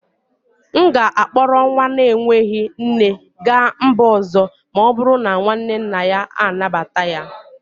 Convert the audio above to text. M ga-akpọrọ nwa na-enweghị nne gaa mba ọzọ ma ọ bụrụ na nwanne nna ya anabata ya